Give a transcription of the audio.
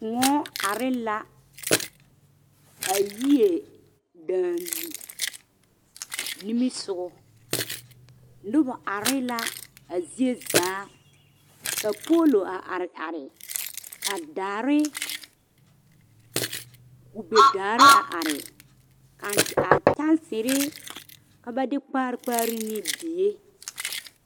Kõɔ are la a yie daŋ nimisogɔ, noba are la a zie zaa ka poolo a are are ka daare kube daare a are a a kyaansiri ka ba de kpaare kpaare ne die.